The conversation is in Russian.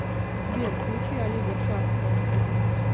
сбер включи олега шадского